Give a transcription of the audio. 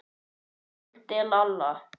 Valda, Lalla.